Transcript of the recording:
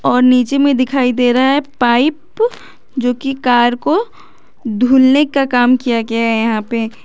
और नीचे में दिखाई दे रहा है पाइप जो कि कार को धुलने का काम किया गया है यहां पे।